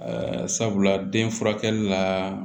sabula den furakɛli la